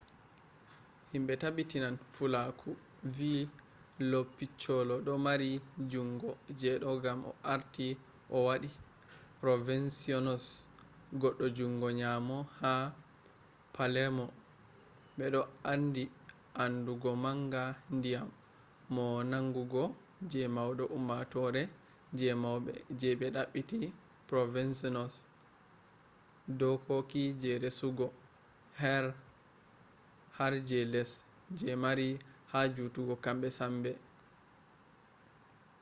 himbe tabbitan fulaku vi lo piccolo do mari jungo je do gam o arti o wadi provenzano’s goddo jungo nyamo ha palermo be odo mari amdugo manga nyamin mo mangungo je maudo ummatore je maube je be dabbiti provenzano’s dokoki je resugo har je less je mari ha jutungo kambe sambe network